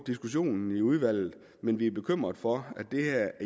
diskussionen i udvalget men vi er bekymret for at det her